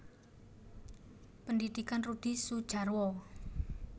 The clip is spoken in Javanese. Pendhidhikan Rudi Sudjarwo